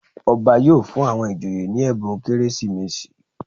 Ọba yóò fún àwọn ìjòyè ní ẹ̀bùn Kérésìmesì.